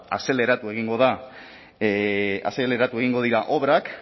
azeleratu egingo dira obrak